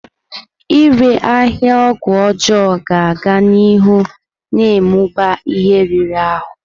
Ịre ahịa ọgwụ ọjọọ ga-aga n'ihu na-amụba ihe riri ahụ.